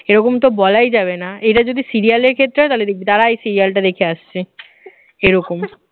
এরকম তো বলাই যাবে না, এরা যদি serial এর ক্ষেত্রে হয় তাহলে দেখবি দাঁড়া এই serial টা দেখে আসছি এরকম